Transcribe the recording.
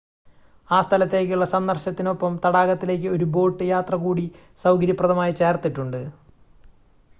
ആ സ്ഥലത്തേക്കുള്ള സന്ദർശനത്തിനൊപ്പം തടാകത്തിലേക്ക് ഒരു ബോട്ട് യാത്ര കൂടി സൗകര്യപ്രദമായി ചേർത്തിട്ടുണ്ട്